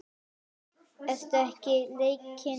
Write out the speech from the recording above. Eru ekki leikir á eftir?